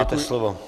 Máte slovo.